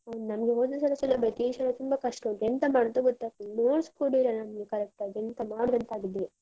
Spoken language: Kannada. ಹ್ಮ್ ನಮ್ಗೆ ಹೋದ ಸಲ ಸುಲಭ ಇತ್ತು. ಈ ಸಲ ತುಂಬ ಕಷ್ಟ ಉಂಟು, ಎಂತ ಮಾಡುದ ಗೊತ್ತಾಗ್ತಿಲ್ಲ. notes ಕೂಡ ಇಲ್ಲ ನಮ್ಗೆ correct ಆಗಿ, ಎಂತ ಮಾಡುದಂತ ಆಗಿದೆ.